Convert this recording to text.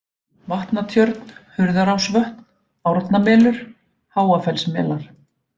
Vatnatjörn, Hurðarásvötn, Árnamelur, Háafellsmelar